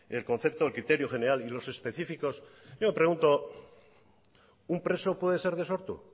conceptos el criterio general y los específicos yo pregunto un preso puede ser de sortu